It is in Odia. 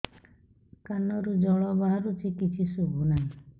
କାନରୁ ଜଳ ବାହାରୁଛି କିଛି ଶୁଭୁ ନାହିଁ